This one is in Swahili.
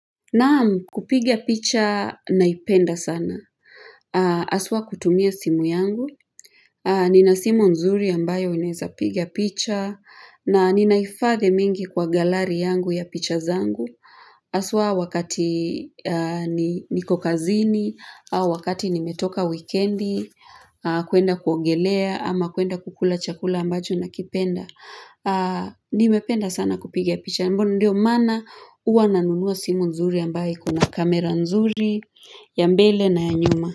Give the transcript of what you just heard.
Naam, kupiga picha naipenda sana. Haswa kutumia simu yangu. Nina simu nzuri ambayo naeza piga picha. Na ninaifadhi mingi kwa galari yangu ya picha zangu. Haswa wakati niko kazini, au wakati nimetoka wikendi, kuenda kuogelea ama kuenda kukula chakula ambacho nakipenda. Nimependa sana kupiga picha ndio maana huwa nanunua simu nzuri ambaye iko na kamera nzuri ya mbele na ya nyuma.